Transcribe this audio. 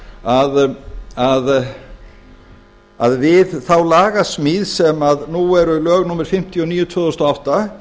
verð að segja að við þá lagasmíð sem nú eru lög númer fimmtíu og níu tvö þúsund og átta